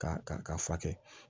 Ka ka fura kɛ